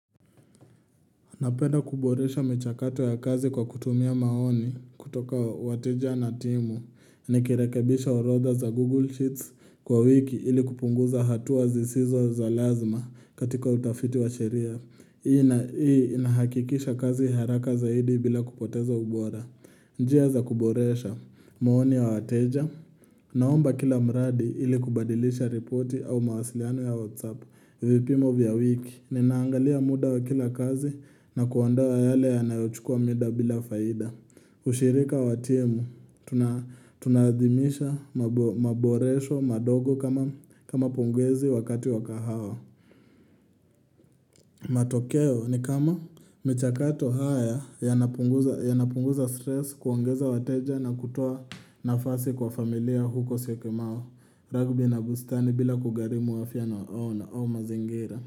Napenda kuboresha michakato ya kazi kwa kutumia maoni kutoka wateja na timu. Nikirekebisha orodha za Google Sheets kwa wiki ili kupunguza hatua zisizo za lazima katika utafiti wa sheria. Hii na hii inahakikisha kazi haraka zaidi bila kupoteza ubora. Njia za kuboresha maoni ya wateja. Naomba kila mradi ili kubadilisha ripoti au mawasiliano ya WhatsApp. Vipimo vya wiki, ninaangalia muda wa kila kazi na kuandaa yale yanayochukua mida bila faida ushirika wa timu, tunaadhimisha maboresho madogo kama pongezi wakati wa kahawa matokeo ni kama michakato haya yanapunguza stress kuongeza wateja na kutoa nafasi kwa familia huko Syokimau Ragbi na bustani bila kugharimu afya na au na au mazingira.